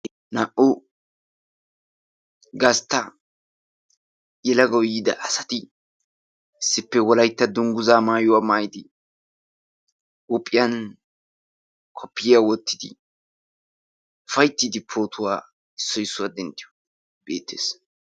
Naa''u gastta yelagaw yiida asati issippe Wolaytta dungguza maayuwa maayyidi kopiyiya wottidi pootuwawa issoy issuwaa denttiyoogee beettees.